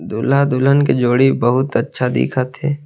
दूल्हा-दुल्हन के जोड़ी बहुत अच्छा दिखत हे।